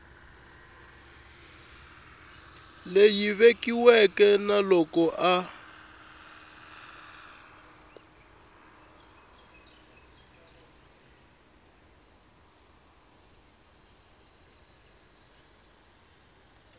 leyi vekiweke na loko a